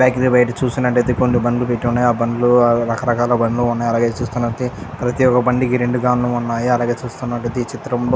bakery బయట చూసినట్టయితే కొన్ని బండ్లు ఉన్నాయి ఆ బండ్లు రకరకాల బండ్లు ఉన్నాయి అలాగే చూసినట్టయితే ప్రతి ఒక్క బండికి రెండు కార్లు ఉన్నాయి అలాగే చూస్తున్నట్లయితే ఈ చిత్రం లో --